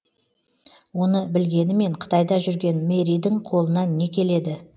оны білгенімен қытайда жүрген мэридің қолынан не келеді